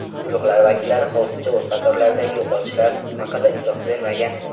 Guruhlar vakillari hozircha o‘z qatorlaridagi yo‘qotishlar haqida izoh bermagan.